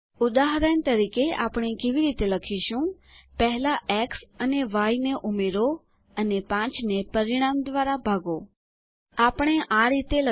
ઉદાહરણ તરીકે આપણે કેવી રીતે લખીશું first add X and Y then divide 5 by the result